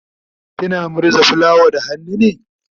kina murza fulawan da hannu ne?